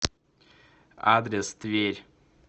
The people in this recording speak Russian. адрес тверь